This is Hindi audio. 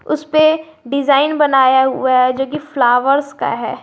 उसपे डिजाइन बनाया हुआ है जो कि फ्लावर्स का है।